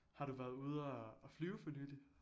Har du været ude og og flyve for nyligt?